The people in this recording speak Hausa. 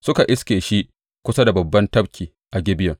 Suka iske shi kusa da babban tafki a Gibeyon.